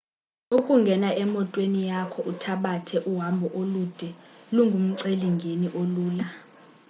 ukungena emotweni yakho uthabathe uhambo olude lungumceli mngeni olula